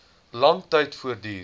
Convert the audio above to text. lang tyd voortduur